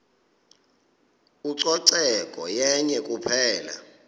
ucoceko yenye kuphela